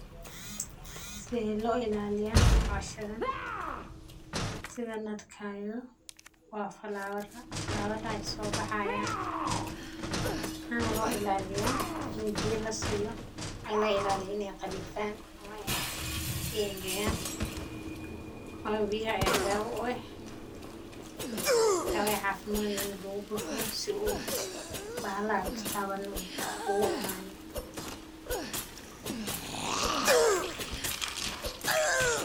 Sithe lo ilaliya hoshadhan sithan arkayo waa flower aa flower maxana lo ilaliya ini biya lasiyo oo lailaliyo ini ee qalifan ama ee angagan wayo biyaha aya dawa u eh dawa cafimaad in lagu bufiyo si u bahalaha ee tatawanin u uimanin.